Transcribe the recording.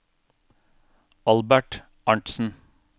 Albert Arntzen